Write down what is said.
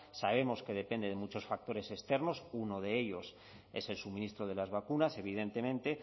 sabemos que depende de muchos factores externos uno de ellos es el suministro de las vacunas evidentemente